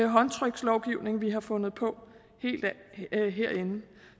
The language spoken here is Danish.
håndtrykslovgivning vi har fundet på herinde